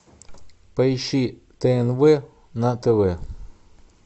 поищи тнв на тв